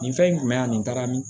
Nin fɛn in kun bɛ yan nin taara min